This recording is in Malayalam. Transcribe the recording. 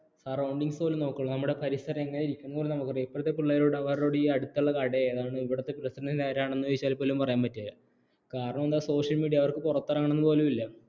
surroundings പോലും നോക്കില്ല നമ്മുടെ പരിസരം എങ്ങനെയിരിക്കുന്നുന്നു പോലും നമുക്കറിയാം ഇപ്പോഴത്തെ പിള്ളേരോട് ഈ അടുത്തുള്ള കട ഏതാ ഇവിടുത്തെ പ്രസിഡൻറ് ആരാണെന്ന് ചോദിച്ചാൽ പോലും പറയാൻ പറ്റില്ല കാരണം എന്താ social media അവർക്ക് പുറത്തിറങ്ങണമെന്ന് പോലുമില്ല